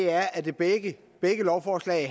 er at begge lovforslag